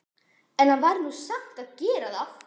En hann varð nú samt að gera það.